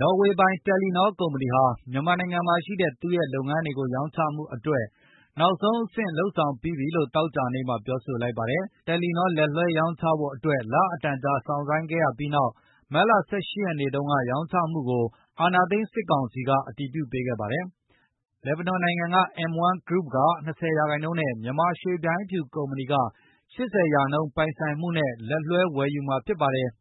နော်ဝေပိုင် တယ်လီနော ကုမ္ပဏီဟာ မြန်မာနိုင်ငံမှာရှိတဲ့ သူ့ရဲ့လုပ်ငန်းတွေ ရောင်းချမှုအတွက် နောက်ဆုံးအဆင့် လုပ်ဆောင်ပြီးပြီလို့ သောကြာနေ့မှာ ပြောဆိုလိုက်ပါတယ်။ တယ်လီနော လက်လွဲှရောင်းချဖို့အတွက် လအတန်ကြာစောင့်ဆိုင်းခဲ့ရပြီးနောက် မတ်လ ၁၈ ရက်နေ့တုန်းက ရောင်းချမှုကို အာဏာသိမ်း စစ်ကောင်စီက အတည်ပြုပေးခဲ့ပါတယ်။ လစ်ဘနွန်နိုင်ငံ M1 Group က ၂၀ % ၊ မြန်မာရွှေဗျိုင်းဖြူကုမ္ပဏီက ၈၀ % ပိုင်ဆိုင်မှုနဲ့ လက်လွဲှ ဝယ်ယူမှာဖြစ်ပါတယ်။